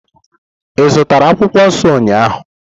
Ị zụtara akwukwuo nso ụnyahụ?